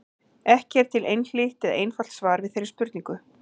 Ekki er til einhlítt eða einfalt svar við þeirri spurningu.